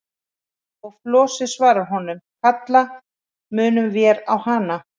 Og Flosi svarar honum: Kalla munum vér á hana.